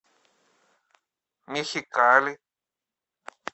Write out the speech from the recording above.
мехикали